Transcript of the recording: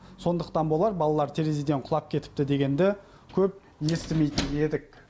сондықтан болар балалар терезеден құлап кетіпті дегенді көп естімейтін едік